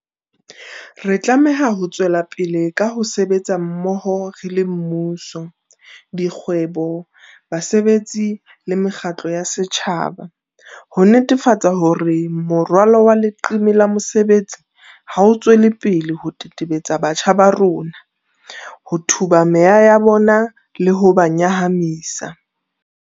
Re tlameha ho tswelapele ka ho sebetsa mmoho re le mmuso, dikgwebo, bosebetsi le mekgatlo ya setjhaba, ho netefatsa hore morwalo wa leqeme la mesebetsi ha o tswele pele ho tetebetsa batjha ba rona, ho tuba meya ya bona le ho ba nyahamisa.